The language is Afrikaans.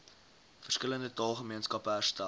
verskillende taalgemeenskappe herstel